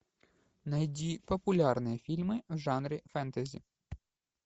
найди популярные фильмы в жанре фэнтези